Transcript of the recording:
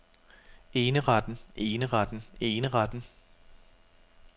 eneretten eneretten eneretten